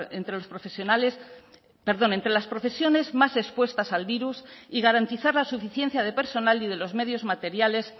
entre los profesionales perdón entre las profesiones más expuestas al virus y garantizar la suficiencia de personal y de los medios materiales